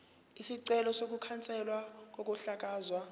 isicelo sokukhanselwa kokuhlakazwa